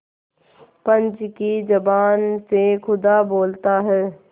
पंच की जबान से खुदा बोलता है